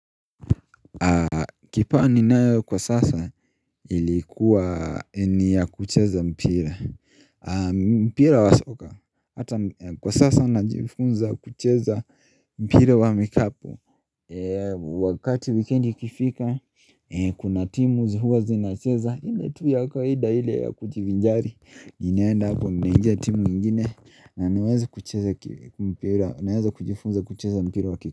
Kipawa ninayo kwa sasa ilikuwa ni ya kucheza mpira mpira wa soka Hata kwa sasa na jifunza kucheza mpira wa mikapo Wakati wikendi kifika Kuna timu zi huwa zinacheza ile tu ya kawaida ile ya kujivinjari inaenda hapo mnangia timu nyingine na naweza kucheza ki mpira naweza kujifunza kucheza mpira wa ki.